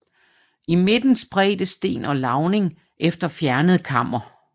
I midten spredte sten og lavning efter fjernet kammer